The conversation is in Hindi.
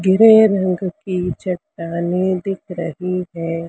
रंग की चट्टानें दिख रही है।